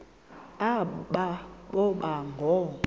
aba boba ngoo